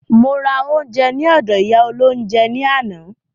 Mo ra oúnjẹ ní ọdọ̀ ìyá olóhúnjẹ ní àná.